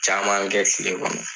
Caman kɛ kɛ kile kɔnɔ